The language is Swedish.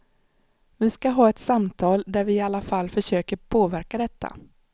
Vi ska ha ett samtal där vi i alla fall försöker påverka detta.